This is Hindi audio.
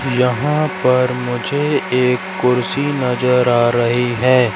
यहां पर मुझे एक कुर्सी नजर आ रही है।